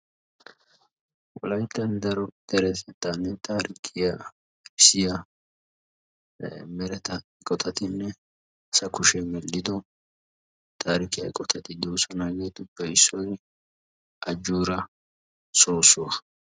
wolaytta daro deretetta taarikiya dossiya dereteta mereta eqotatuppe issuwa ajoora soosuwa.